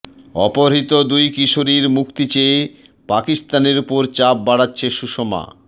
অপহৃত দুই কিশোরীর মুক্তি চেয়ে পাকিস্তানের ওপরে চাপ বাড়াচ্ছেন সুষমা